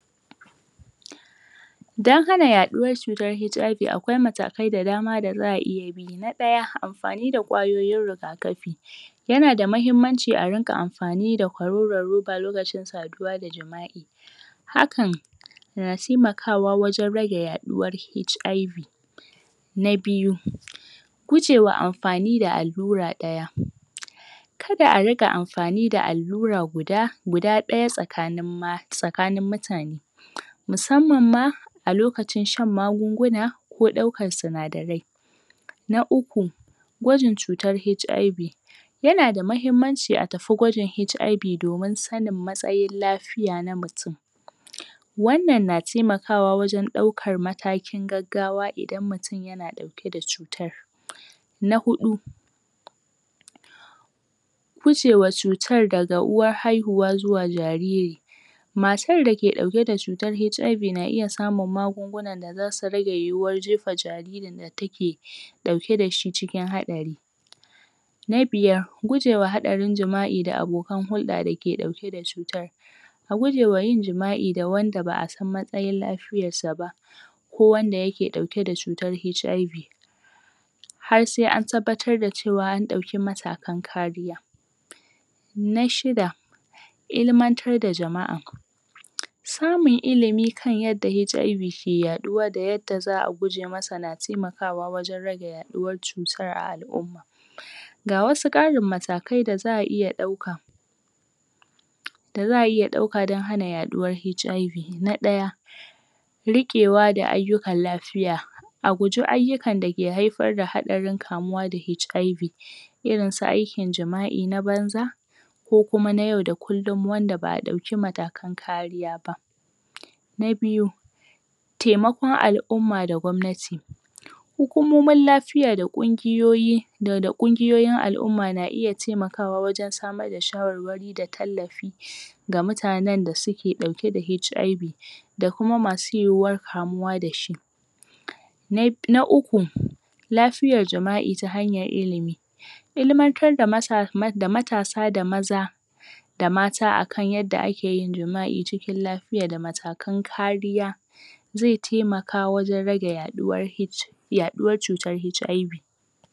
dan hana yaɗuwar cutar HIV akwai hanyoui da dama daza'a iya bi na ɗaya anfani da ƙwayoyin riga kafi yana da kyau arinƙa anfani da ƙwaroron ruba lokacin saduwa da jima'i hakan na taimakawa wajan rage yaɗuwar HIV na biyu gujewa anfani da allura ɗaya kada ariƙa anfani da allura guda guda ɗaya tsakanin mata[um] tsakanin mutane musamman ma a lokacin shan magunguna ko ɗaukar sinadarai na uku gwajin cutar HIV yanada mahimmanci a tafi gwajin HIV domin sanin matsayin la fiya na mutun wannan na taimakawa wajan ɗaukar matakin gaggawa idan mutun yana ɗauke da cutar na huɗu guje wa cutar da uwar haihuwa zuwa jariri masir dake ɗauke da cutar HIV na iya samun magungun da zasu rage yiwuwar jefa jaririn da take ɗauke da shi cikin haɗari na biyar gujewa haɗarin jima'i da abokan hulɗa dake ɗauke da shi a guje wa yin jima'i da wanda ba'san matsayin lafiyan sa ba ko wanda ke ɗauke da cutar HIV har se an tabbatar da cewa an ɗauki matakan kariya na shida ilimantar da jama'a samun ilimi kan yadda HIV ke yaɗuwa da yadda za'a guje masa na temakawa wajan rage ya ɗuwar cutar a al'umma ga wasu karin matakai da za'a iya ɗauka da za'a iya ɗauka dan hana yaɗuwar HIV na ɗaya riƙewa da ayyukan lafiya a guji ayyukan dake haifar da haƙarin kamuwa da HIV Iirinsu aikin jima'i na banza ko kuma na yau da kullun wanda ba;a dauki matakan kariya ba na biyu temekon al'umma da gwamnati hukumomin lafiya da kugiyoyi dau[um] da ƙungiyoyin alumma na iya temakawa wajan samar da shawarwari da tallafi ga mutanen da suke dauke da HIV da kuma masu yiwuwar kamuwa dashi na bi[um] na uku lafiyar jima'i ta hanyar ilimi ilimantar da masa[um] da matasa da maza da mata akan yadda akeyin jima'i cikin lafiya da matakan kariya ze temaka wajan rage yuɗuwar H yaɗuwar cutar HIV